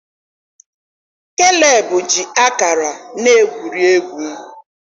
Keleb ji ákàrà na-egwuri egwu.